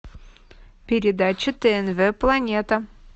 передача тнв планета